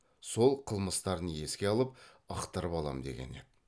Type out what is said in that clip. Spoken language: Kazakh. сол қылмыстарын еске салып ықтырып алам дегені еді